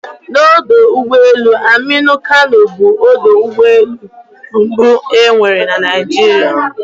Odọ ụgbọelu Aminu Kano, bụ ọdọ ụgbọelu mbụ e nwere na Naịjirịa.